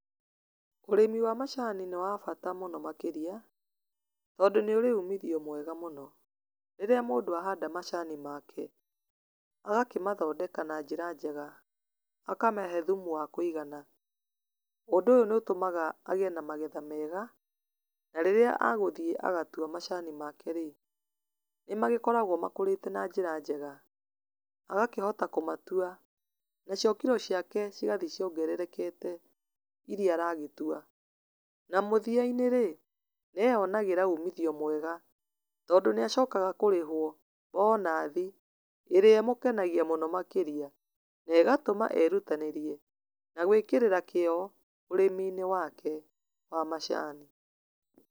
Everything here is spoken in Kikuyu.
Ũrĩmĩ wa macani nĩ wabata mũno makĩria, tondũ nĩ ũrĩ ũmithio mwega mũno. Rĩrĩa mũndũ ahanda macani make, agakĩmathondeka na njĩra njega, akamahe thumu wa kũigana, ũndũ ũyũ nĩ ũtũmaga agĩe na magetha mega, na rĩrĩa agũthiĩ agatua macani make rĩ, nĩmagĩkoragwo makũrĩte na njĩra njega, agakĩhota kũmatua, nacio kiro ciake cigathiĩ ciongererekete, iria aragĩtua, na mũthiainĩ rĩ, nĩeyonagĩra umithio mwega, tondũ nĩacokaga kũrĩhwo, bonathi, ĩrĩa ĩmũkenagia mũno makĩria, na ĩgatũma erutanĩrie, na gwĩkĩrĩra kĩo, ũrĩminĩ wake wa macani.